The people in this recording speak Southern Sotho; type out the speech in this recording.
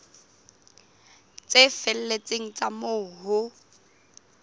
tse felletseng tsa moo ho